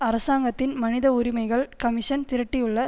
அரசாங்கத்தின் மனித உரிமைகள் கமிஷன் திரட்டியுள்ள